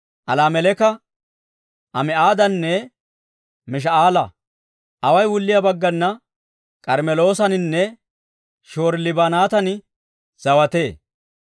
Alaameleka, Ami'aadanne Mish"aala. Away wulliyaa baggana K'armmeloosaninne Shihoori-Libinaatan zawatee.